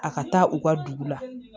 A ka taa u ka dugu la